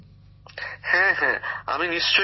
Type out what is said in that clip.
গ্যামর জীঃ হ্যাঁ হ্যাঁ আমি নিশ্চয়ই করব